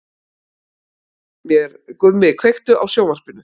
hversu lítill getur örgjörvinn orðið